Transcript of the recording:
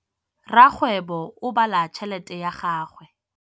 Rakgwêbô o bala tšheletê ya gagwe.